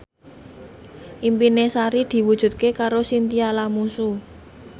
impine Sari diwujudke karo Chintya Lamusu